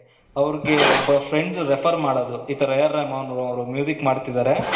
ಅವರಿಗೆ ಒಬ್ಬ friend refer ಮಾಡೋದು ಈ ತರ ಏರ್ ರೆಹಮಾನವರು ಮಾಡ್ತಾ ಇದ್ದಾರೆ